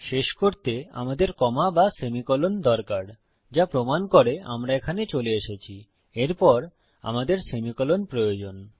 শেষ করতে আমাদের কমা বা সেমিকোলন দরকার যা প্রমান করে আমরা এখানে চলে এসেছিএরপর আমাদের সেমিকোলন প্রয়োজন